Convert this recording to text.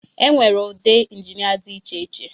E nwere ụdị injinịa dị iche iche